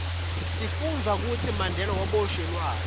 sifundza kutsi mandela waboshelwani